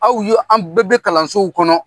Aw ye an bɛɛ bɛ kalansow kɔnɔ